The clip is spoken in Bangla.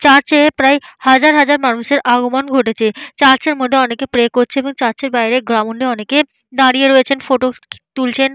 চার্চে প্রায় হাজার হাজার মানুষের আগমন ঘটেছে । চার্চ - এর মধ্যে অনেকে প্রে করছে এবং চার্চ - এর বাইরে গ্রাউন্ড - এ অনেকে দাঁড়িয়ে রয়েছেন ফটো তুলছেন।